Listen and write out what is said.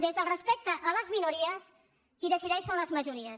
des del respecte a les minories qui decideix són les majories